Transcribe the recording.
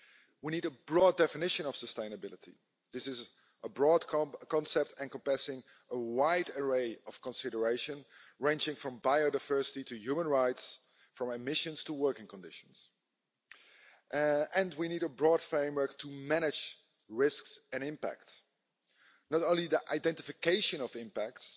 We need a broad definition of sustainability. This is a broad concept encompassing a wide array of considerations, ranging from biodiversity to human rights, from emissions to working conditions, and we need a broad framework to manage risks and impact not only the identification of impacts